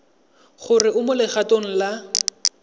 gore o mo legatong la